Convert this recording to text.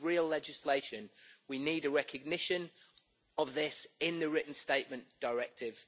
we need real legislation, we need a recognition of this in the Written Statement Directive.